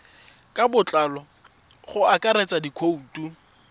ka botlalo go akaretsa dikhoutu